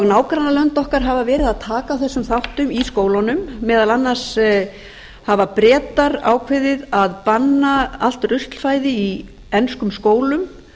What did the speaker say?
nágrannalönd okkar hafa verið að taka á þessum þáttum í skólunum meðal annars hafa bretar ákveðið að banna allt ruslfæði í enskum skólum